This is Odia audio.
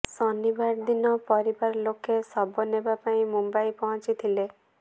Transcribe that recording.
ଶନିବାର ଦିନ ପରିବାର ଲୋକେ ଶବ ନେବା ପାଇଁ ମୁମ୍ବାଇ ପହଞ୍ଚିଥିଲେ